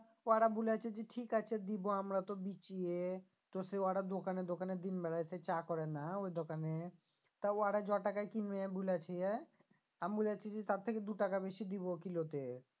ওরা বুলেছে যে ঠিক আছে দিব আমরা তো দিচ্ছি তো সে ওরা দোকানে দোকানে দিন বেলায় সে চা করে না ওই দোকানে তা ওরা জ টাকায় কিনবে বুলেছে আমি বুলেছি যে তার থেকে দু টাকা বেশি দিবো কিলো তে